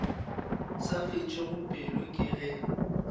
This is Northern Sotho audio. sa fetšego pelo ke ge